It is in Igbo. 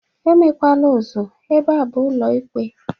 E mekwala ụzụ, ebe a bụ ụlọ ikpe!